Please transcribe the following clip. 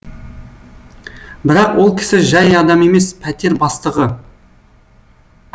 бірақ ол кісі жай адам емес пәтер бастығы